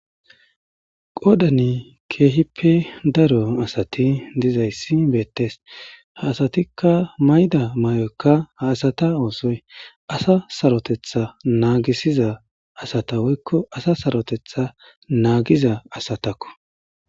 qodani keehippe daro asati dizayssi beettes ha asatikka mayda may7oykka ha asata oosoy asa sarotetha naagisiza asata woykko asa sarotetha naagiza asatakko